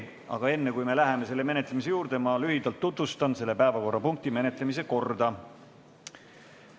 Aga enne, kui me läheme selle päevakorrapunkti menetlemise juurde, tutvustan ma lühidalt selle menetlemise korda.